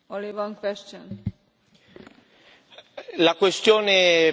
La questione posta dalla collega Agea è molto corretta.